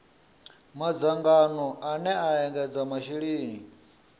madzangano ane a ekedza masheleni